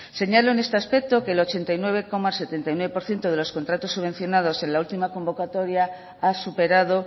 señalo en este aspecto que el ochenta y nueve coma setenta y nueve por ciento de los contratos subvencionados en la última convocatoria ha superado